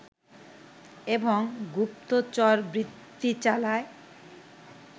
এবং গুপ্তচরবৃত্তি চালায়